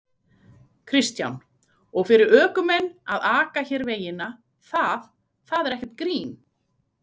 Kristján: Og fyrir ökumenn að aka hér vegina, það, það er ekkert grín?